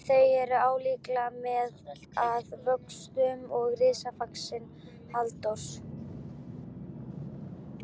Þau eru álíka mikil að vöxtum og ritsafn Halldórs